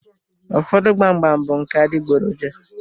Ụfọdụ gbam gbam bụ nke adịgboroja.